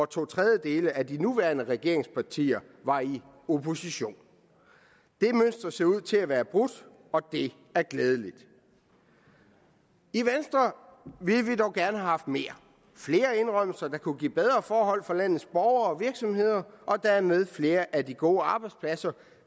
to tredjedele af de nuværende regeringspartier var i opposition det mønster ser ud til at være brudt og det er glædeligt i venstre ville vi dog gerne have haft mere flere indrømmelser der kunne give bedre forhold for landets borgere og virksomheder og dermed flere af de gode arbejdspladser